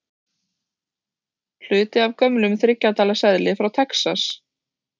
Hluti af gömlum þriggja dala seðli frá Texas.